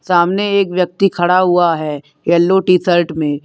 सामने एक व्यक्ति खड़ा हुआ है येलो टी शर्ट में।